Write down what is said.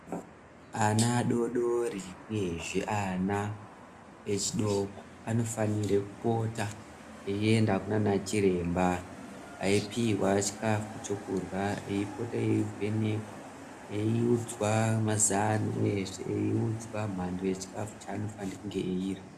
Ana adodori uyezve ana echidoko anofana kupota eienda kunana chiremba Iowa chikafu chekurya eipota eivhenekwa eiudzwa mazano uyezve eiudzwa mhando yechikafu chaanofane kunge eirya.